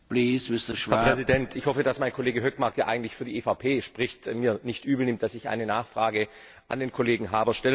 Herr Präsident! Ich hoffe, dass mein Kollege Hökmark, der eigentlich für die EVP spricht, es mir nicht übelnimmt, dass ich eine Nachfrage an den Kollegen Harbour stellen möchte.